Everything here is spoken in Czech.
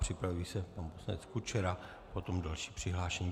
Připraví se pan poslanec Kučera, potom další přihlášení.